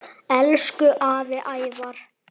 Elsku afi Ævar.